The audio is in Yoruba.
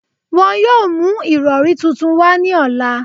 Wọn yoo mu irọri tuntun wa ni ọla